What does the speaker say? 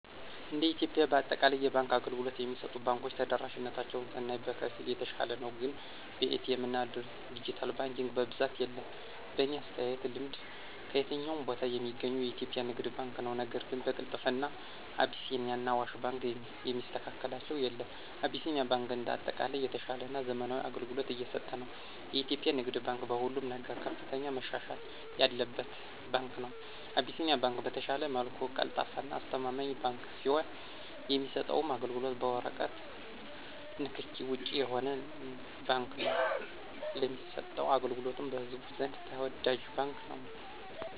እንደ ኢትዮጵያ በአጠቃላይ የባንክ አገልግሎት የሚሰጡ ባንኮች ተደራሽነታቸውን ስናይ በከፊል የተሻለ ነው ግን በኤ.ቲ. ኤምና ድጅታል ባንኪንግ በብዛት የለም። በኔ አተያይና ልምድ ከየትኛውም ቦታ ሚገኘው የኢትዮጵያ ንግድ ባንክ ነው ነገር ግን በቅልጥፍና አቢሲኒያና አዋሽ ባንክን የሚስተካከላቸው የለም። አቢሲኒያ ባንክ እንደ አጠቃላይ የተሻለና ዘመናዊ አገልግሎት እየሰጠ ነው። የኢትዮጵያ ንግድ ባንክ በሁሉም ነገር ከፍተኛ መሻሻል ያለበት ባንክ ነው። አቢሲኒያ ባንክ በተሻለ መልኩ ቀልጣፋና አስተማማኝ ባንክ ሲሆን የሚሰጠውም አገልግሎት በወረቀት ንክኪ ውጭ የሆነ ባንክ ነው ለሚሰጠው አገልግሎቱም በህዝቡ ዘንድ ተወዳጅ ባንክ ነው።